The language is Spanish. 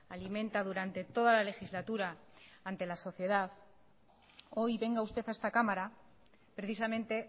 alimenta durante toda la legislatura ante la sociedad hoy venga usted a esta cámara precisamente